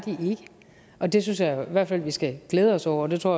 og det synes jeg i hvert fald at vi skal glæde os over og det tror